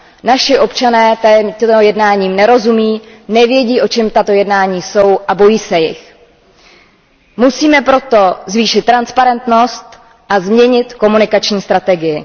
Naši občané těmto jednáním nerozumí, nevědí, o čem tato jednání jsou, a bojí se jich. Musíme proto zvýšit transparentnost a změnit komunikační strategii.